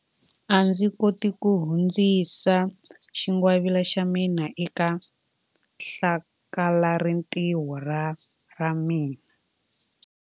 A ndzi koti ku hundzisa xingwavila xa mina eka hlakalarintiho ra ra mina.